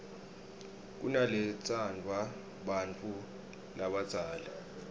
kunaletsandvwa bantfu labadzala